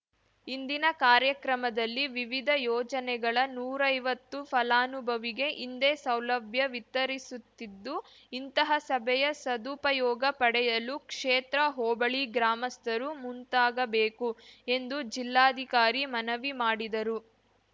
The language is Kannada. ಇಂದಿನ ಕಾರ್ಯಕ್ರಮದಲ್ಲಿ ವಿವಿಧ ಯೋಜನೆಗಳ ನೂರೈವತ್ತು ಫಲಾನುಭವಿಗೆ ಇಂದೇ ಸೌಲಭ್ಯ ವಿತರಿಸುತ್ತಿದ್ದುಇಂತಹ ಸಭೆಯ ಸದುಪಯೋಗ ಪಡೆಯಲು ಕ್ಷೇತ್ರ ಹೋಬಳಿ ಗ್ರಾಮಸ್ಥರು ಮುಂತಾಗಬೇಕು ಎಂದು ಜಿಲ್ಲಾಧಿಕಾರಿ ಮನವಿ ಮಾಡಿದರು